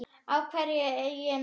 Af hverju ég núna?